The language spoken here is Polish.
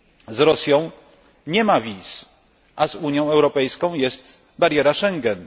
Z Rosją nie ma wiz, a z Unią Europejską jest bariera Schengen.